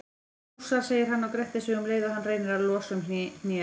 Rússar, segir hann og grettir sig um leið og hann reynir að losa um hnéð.